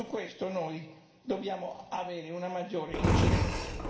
Su questo noi dobbiamo avere una maggiore incidenza.